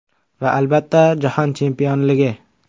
Va, albatta, Jahon chempionligi.